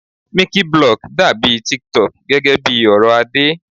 Miciblog dàbí tiktok gẹ́gẹ́ bí ọ̀rọ̀ Adé.